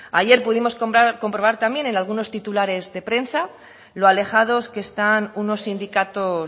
ayer pudimos comprobar también en algunos titulares de prensa lo alejados que están unos sindicatos